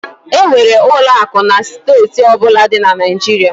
E nwere ụlọ akụ na steeti ọ bụla di na Naịjirịa.